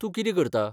तूं कितें करता ?